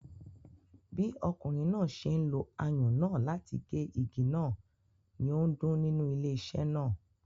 Bí ọkùnrin náà ṣe ń lo ayùn náà láti gé igi náà, ni ó ń dún nínú ilé iṣé náà.